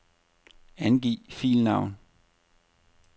Angiv filnavn.